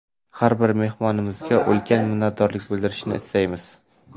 Har bir mehmonimizga ulkan minnatdorlik bildirishni istaymiz!